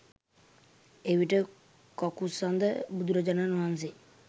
එවිට කකුසඳ බුදුරජාණන් වහන්සේ